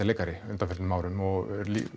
leikari á undanförnum áður og